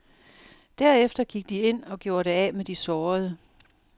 Derefter gik de ind og gjorde det af med de sårede.